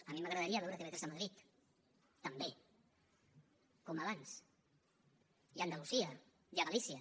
a mi m’agradaria veure tv3 a madrid també com abans i a andalusia i a galícia